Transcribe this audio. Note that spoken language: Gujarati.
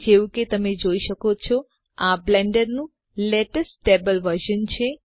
જેવું કે તમે જોઈ શકો છો આ બ્લેન્ડરનું લેટેસ્ટ સ્ટેબલ વર્ઝન છે